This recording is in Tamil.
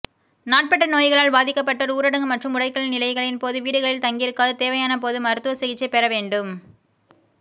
நாட்பட்ட நோய்களால் பாதிக்கப்பட்டோர் ஊரடங்கு மற்றும் முடக்கல் நிலைகளின்போது வீடுகளில் தங்கியிருக்காது தேவையான போது மருத்துவசிகிச்சை பெற வேண்டும்